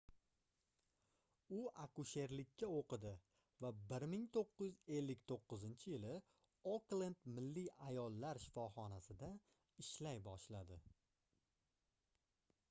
u akusherlikka oʻqidi va 1959-yili oklend milliy ayollar shifoxonasida ishlay boshladi